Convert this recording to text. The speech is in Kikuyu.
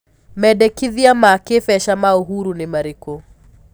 mendekithia ma kibeca ma uhuru ni marĩkũ